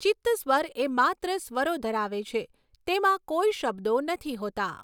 ચિત્તસ્વર એ માત્ર સ્વરો ધરાવે છે, તેમાં કોઈ શબ્દો નથી હોતા.